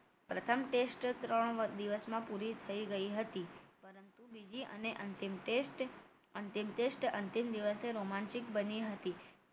પ્રથમ test ત્રણ દિવસમાં પૂરી થઈ ગઈ હતી પરંતુ બીજી અને અંતિમ test અંતિમ test અંતિમ દિવસે રોમાંચિક બની હતી